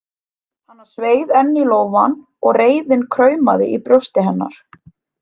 Hana sveið enn í lófann og reiðin kraumaði í brjósti hennar.